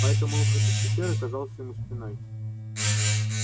поэтому выход из пещеры казался ему стеной